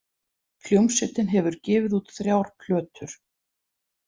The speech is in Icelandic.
Hljómsveitin hefur gefið út þrjár plötur.